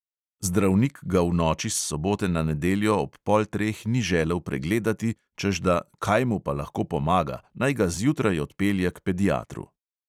Zdravnik ga v noči s sobote na nedeljo ob pol treh ni želel pregledati, češ da "kaj mu pa lahko pomaga, naj ga zjutraj odpelje k pediatru".